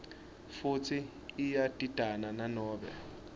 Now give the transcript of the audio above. futsi iyadidana nanobe